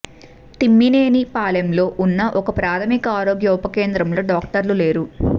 తిమ్మినేనిపాలెంలో ఉన్న ఒక ప్రాథమిక ఆరోగ్య ఉప కేంద్రంలో డాక్టర్లు లేరు